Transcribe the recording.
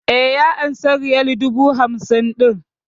E, ya amsa riyal dubu hamsin ɗin.